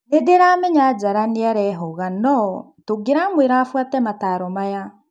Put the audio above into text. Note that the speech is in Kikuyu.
"Nindĩramenya [Njara] nĩarehũga no... tũngĩramwĩra afuate mataaro Maya."